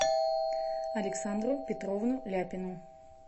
александру петровну ляпину